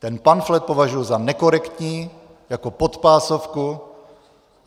Ten pamflet považuji za nekorektní, jako podpásovku.